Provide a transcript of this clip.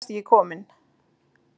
Ég veit þú ert ekki kominn.